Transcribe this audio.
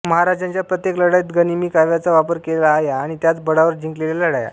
महाराजांच्या प्रत्येक लढाईत गनिमी काव्याचा वापर केलेला आहेआणि त्याच बळावर जिंकलेल्या लढाया